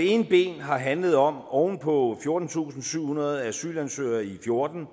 ene ben har handlet om oven på fjortentusinde og syvhundrede asylansøgere i og fjorten